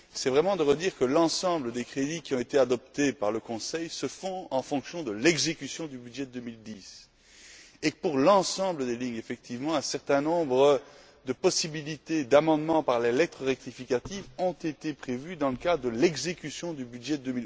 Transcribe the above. Il convient de redire que l'ensemble des crédits qui ont été adoptés par le Conseil se font en fonction de l'exécution du budget de 2010, et que, pour l'ensemble des lignes, effectivement, un certain nombre de possibilités d'amendements par les lettres rectificatives ont été prévues dans le cadre de l'exécution du budget de